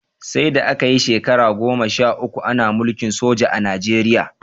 Saida aka yi shekara goma sha uku Ana mulkin soja a Najeriya